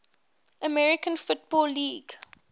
american football league